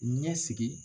Ɲɛsigi